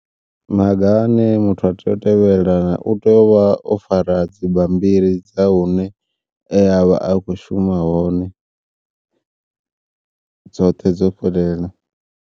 Maga ane muthu a tea u tevhelela u tea u vha o fara dzi bammbiri dza hune e avha a kho shuma hone dzoṱhe dzo fhelela.